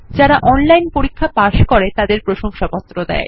যারা অনলাইন পরীক্ষা পাস করে তাদের প্রশংসাপত্র দেয়